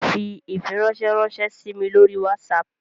Fi ifiranṣẹ ranṣẹ si mi lori Whatsapp